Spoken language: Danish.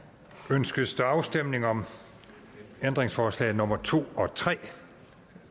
ønskes afstemning om ændringsforslag nummer to og tre